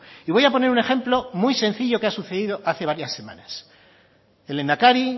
y voy a poner un ejemplo muy sencillo que ha sucedido hacía varias semanas el lehendakari y